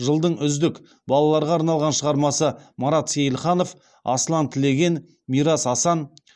жылдың үздік балаларға арналған шығармасы марат сейілханов асылан тілеген мирас асан